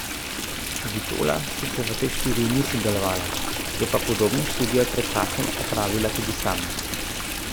Vitola sicer v tej študiji ni sodelovala, je pa podobno študijo pred časom opravila tudi sama.